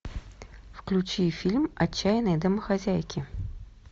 включи фильм отчаянные домохозяйки